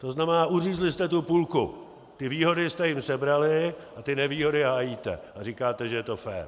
To znamená, uřízli jste tu půlku, ty výhody jste jim sebrali a ty nevýhody hájíte a říkáte, že je to fér.